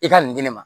I ka nin di ne ma